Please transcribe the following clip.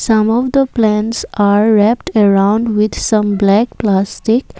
some of the plants are wrapped around with some black plastic.